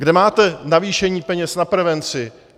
Kde máte navýšení peněz na prevenci?